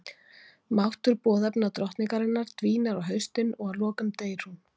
Máttur boðefna drottningarinnar dvínar á haustin og að lokum deyr hún.